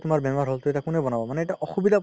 বেমাৰ হ'ল ত এতিয়া কোনে বনাব মানে অসুবিধা